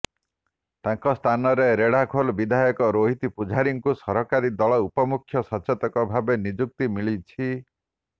ତାଙ୍କ ସ୍ଥାନରେ ରେଢାଖୋଲ ବିଧାୟକ ରୋହିତ ପୂଜାରୀଙ୍କୁ ସରକାରୀ ଦଳ ଉପମୁଖ୍ୟ ସଚେତକ ଭାବେ ନିଯୁକ୍ତି ମିଳିଛି